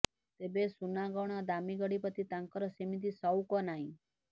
ତେବେ ସୁନାଗହଣା ଓ ଦାମୀ ଗାଡି ପ୍ରତି ତାଙ୍କର ସେମିତି ସଉକ ନାହିଁ